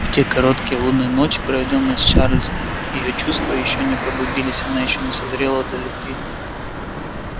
в те короткие лунные ночи проведённые с чарлзом её чувства ещё не пробудились она ещё не созрела для любви